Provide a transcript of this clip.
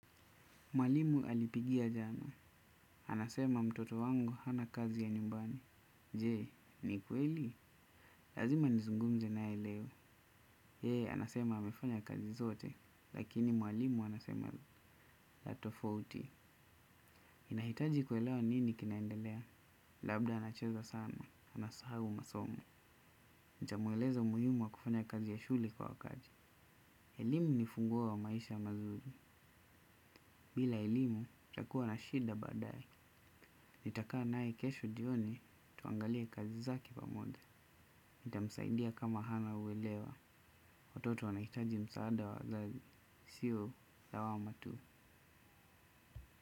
Mwalimu alipigia jana. Anasema mtoto wangu hana kazi ya nyumbani. Je, ni kweli? Lazima nizungumze naye leo. Yeye, anasema amefanya kazi zote. Lakini mwalimu anasema la tofauti. Ninahitaji kuelewa nini kinaendelea. Labda anacheza sana. Anasahau masomo. Nitamueleza umuhimu wa kufanya kazi ya shule kwa wakati. Elimu ni ufunguo wa maisha mazuri. Bila elimu, nitakuwa na shida baadaye. Nitakaa naye kesho jioni tuangalie kazi zake pamoja. Nitamsaidia kama hana uelewa. Watoto wanahitaji msaada wa wazazi. Sio lawama tu.